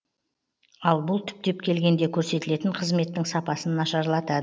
ал бұл түптеп келгенде көрсетілетін қызметтің сапасын нашарлатады